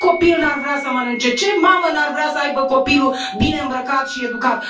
Ce copil n ar vrea să mănânce, ce mamă n ar vrea să aibă copilul bine îmbrăcat și educat?